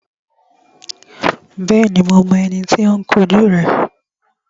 Bẹ́ẹ̀ni, mo mọ ẹni tí ó ń kun jú rẹ